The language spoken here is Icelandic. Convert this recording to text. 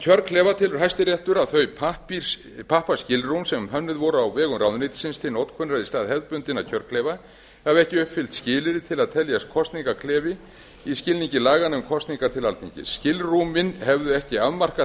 kjörklefa telur hæstiréttur að þau pappaskilrúm sem hönnuð voru á vegum ráðuneytisins til notkunar í stað hefðbundinna kjörklefa hafi ekki uppfyllt skilyrði til að teljast kosningaklefi í skilningi laganna um kosningar til alþingis skilrúmin hefðu ekki afmarkað